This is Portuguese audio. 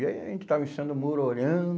E aí a gente estava o muro, olhando.